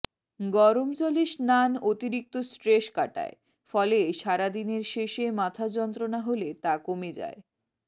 গরম জলে স্নান অতিরিক্ত স্ট্রেস কাটায় ফলে সারাদিনের শেষে মাথা যন্ত্রণা হলে তা কমে যায়